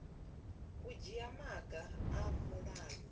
u dzhia maga a mulayo